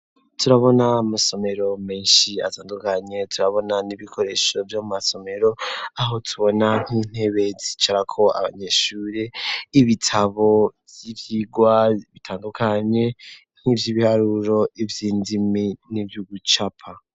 Turabona amasomero meshi atandukanye turabona n'ibikoresho vyo mu masomero aho tubona nk'intebe zicarako abanyeshuri ibitabo vy'ivyirwa bitandukanye nkivyi biharuro ivyi ndimi n'ivyugucapa.